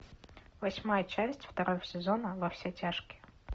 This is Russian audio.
восьмая часть второго сезона во все тяжкие